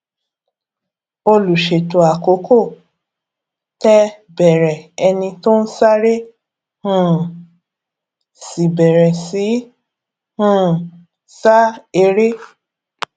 olùṣètò àkókò tẹ bẹrẹ ẹni tó ń sáré um sì bèrè sì um sa eré